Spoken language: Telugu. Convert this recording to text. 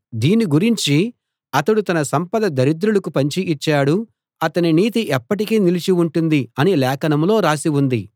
దీని గురించి అతడు తన సంపద దరిద్రులకు పంచి ఇచ్చాడు అతని నీతి ఎప్పటికీ నిలిచి ఉంటుంది అని లేఖనంలో రాసి ఉంది